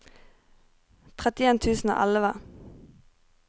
trettien tusen og elleve